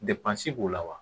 b'u la wa